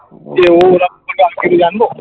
যে ও আমি কিছু জানবো